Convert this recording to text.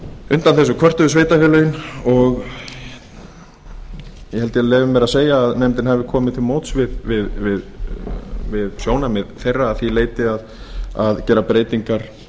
undan þessu kvörtuðu sveitarfélögin og ég held ég leyfi mér að segja að nefndin hafi komið til móts við sjónarmið þeirra að því leyti að gera breytingar